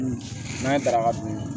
N'an ye daraka dun